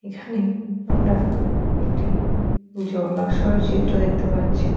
অন্ধকার নেমে আসছে।